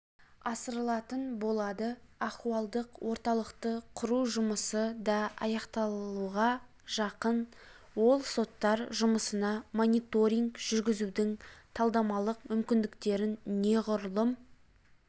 асырылатын болады ахуалдық орталықты құру жұмысы да аяқталуға жақын ол соттар жұмысына мониторинг жүргізудің талдамалықмүмкіндіктеріннеғұрлым